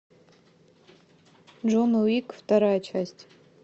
джон уик вторая часть